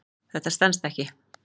Þetta stenst alls ekki.